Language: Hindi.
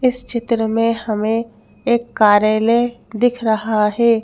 इस चित्र में हमें एक कार्यालय दिख रहा है।